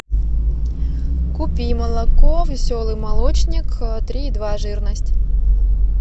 купи молоко веселый молочник три и два жирность